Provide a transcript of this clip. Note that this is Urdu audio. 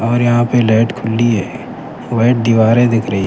اور یہاں پہ لائٹ کھلی ہے وائٹ دیواریں --